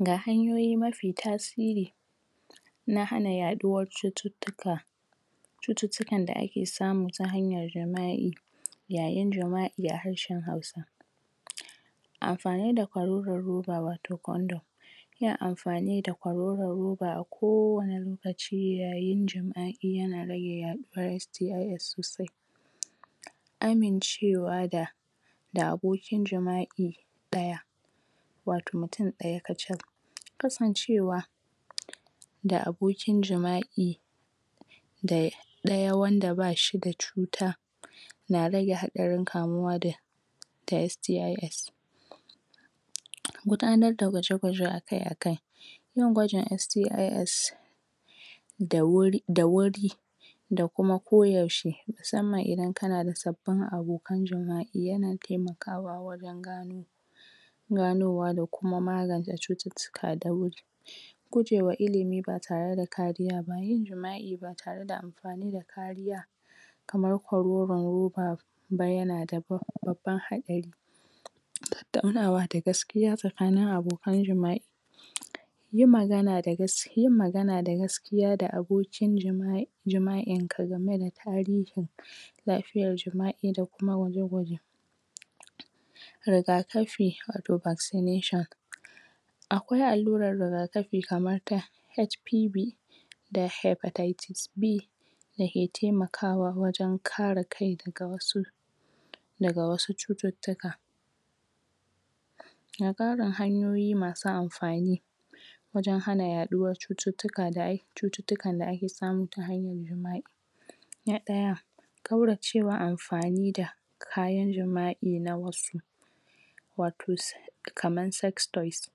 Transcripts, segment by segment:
ga hanyoyi mafi tasiri na hana yaduwar cututtuka cututtuka da ake samu ta hanyar jima'i yayin jima'i harshen hausa amfani da kororon roba wato condom yin amfani da kwaroron roba a kowani lokaci yayin jima'i yana rage yaduwan STIS sosai amincewa da da abokin jima'i daya wato mutum daya kachal kasancewa da abokin jima'i day daya wanda bashida cuta na rage hadarin kamuwa da da STIS gudanar da gwaje gwaje akai akai yin gwajin STIS da wuri da wuri da kuma ko yaushe musamman idan kanada sabbin abokan jima'i yana taimakawa warin gano da kuma ko yaushe musamman idan kana da sabbin abokan jima'i yana taimakawa wajan gano ganowa dakuma magance cututtuka da wuri guje wa ilimi ba tareda kariya ba yin jima'i ba tareda amfanida kariya kamar kwaroron roba ba yanada bab babban hadari tattaunawa da gaskiya sakanin abokan jima'i yin magana da gas yin magana da gaskiya da abokin jima jima'inka gameda tarihin lafiyar jima'i da kuma gwaje gwaje rigakafi wato vaccination akwai alluran rigakafi kamar ta HPV da hypertieties B dake taimakawa wajan kara kai daga wasu daga wasu cututtuka ga karin hanyoyi masu amfani wajan hana yaduwan cututtuka da'ai cututtukan da ake samu ta hanyar jima'i na daya kauracewa amfani da kayan jima'i na wasu wato s kaman sex toys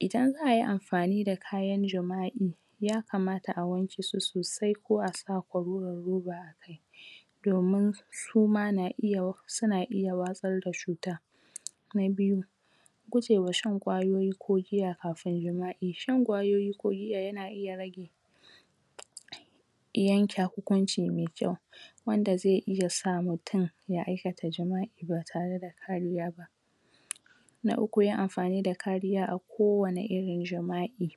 idan za'ayi amfanida kayan jima'i ya kamata a wankesu sosai ko asa kwaroron roba domun suma na iya suna iya watsarda cuta na biyu gujewa shan kwayoyi ko giya kafin jima'i shan kwayoyi ko giya yana iya rage yanke hukunci me kyau wanda ze iya sa mutum ya aikata jima'i ba tareda kariya ba na uku yin amfanida kariya a kowani irin jima'i